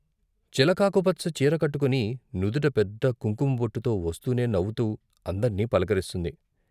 చిలకాకు పచ్చ చీర కట్టుకుని నుదుట పెద్ద కుంకం బొట్టుతో వస్తూనే నవ్వుతూ అందర్నీ పలకరిస్తుంది.